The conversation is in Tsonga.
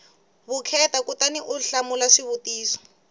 vukheta kutani u hlamula swivutiso